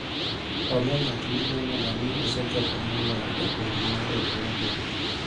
onge ng'at maneno ga ni osechopo moloyo jagoro mar riwruogwa